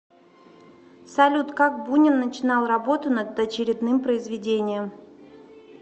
салют как бунин начинал работу над очередным произведением